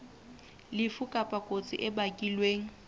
lefu kapa kotsi e bakilweng